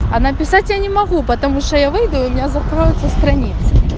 а написать я не могу потому что я выйду и у меня закроются страницы